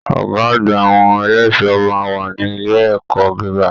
Ọgá àgbà àwọn ẹlẹṣọ máa n wà ní ilé ẹ̀kọ́ gíga.